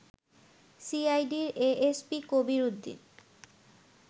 সিআইডির এএসপি কবির উদ্দিন